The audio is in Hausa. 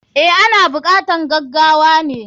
Eh, ana bukatar gagawane.